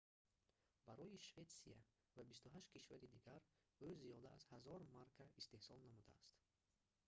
барои шветсия ва 28 кишвари дигар ӯ зиёда аз 1000 марка истеҳсол намудааст